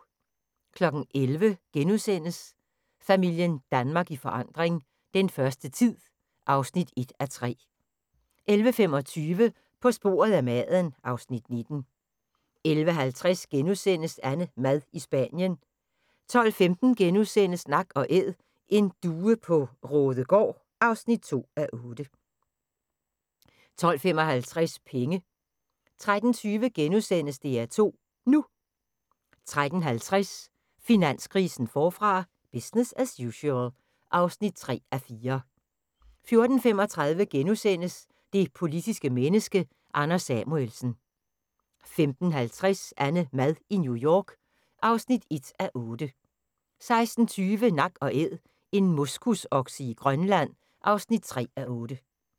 11:00: Familien Danmark i forandring – den første tid (1:3)* 11:25: På sporet af maden (Afs. 19) 11:50: AnneMad i Spanien (8:8)* 12:15: Nak & Æd: En due på Raadegaard (2:8)* 12:55: Penge 13:20: DR2 NU * 13:50: Finanskrisen forfra – business as usual (3:4) 14:35: Det politiske menneske – Anders Samuelsen * 15:50: AnneMad i New York (1:8) 16:20: Nak & Æd - en moskusokse i Grønland (3:8)